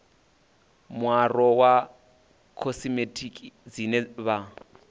muaro wa khosimetiki dzine vha